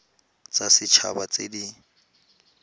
tsa set haba tse di